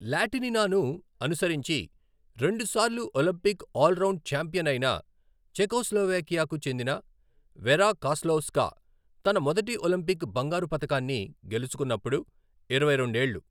లాటినినాను అనుసరించి రెండుసార్లు Olympic all round champion అయిన చెకోస్లోవేకియాకు చెందిన వెరా కాస్లావ్స్కా, తన మొదటి ఒలింపిక్ బంగారు పతకాన్ని గెలుచుకున్నప్పుడు ఇరవై రెండు ఏళ్ళు .